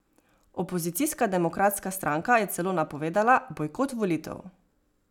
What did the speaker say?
Opozicijska Demokratska stranka je celo napovedala bojkot volitev.